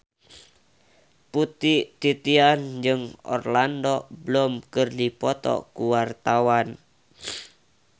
Putri Titian jeung Orlando Bloom keur dipoto ku wartawan